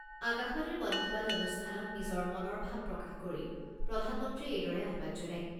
আকাশবাণীৰ মন কী বাত অনুষ্ঠানত নিজৰ মনৰ ভাব প্ৰকাশ কৰি প্ৰধানমন্ত্ৰীয়ে এইদৰে আহ্বান জনায়।